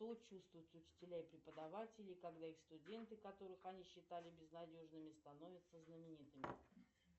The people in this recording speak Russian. что чувствуют учителя и преподаватели когда их студенты которых они считали безнадежными становятся знаменитыми